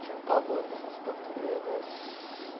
Tinha um pavor dessas taturanas.